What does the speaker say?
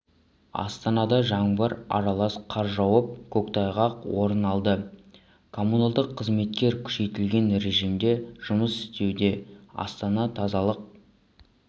астанада жаңбыр аралас қар жауып көктайғақ орын алды коммуналдық қызметтер күшейтілген режимде жұмыс істеуде астана тазалық